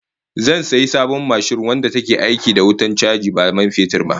Zan sayi sabon mashin wadda take aiki da wutar chaji ba man fetur ba